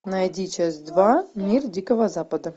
найди часть два мир дикого запада